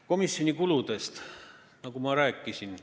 Komisjoni kuludest ma rääkisin.